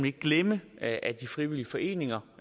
ikke glemme at at de frivillige foreninger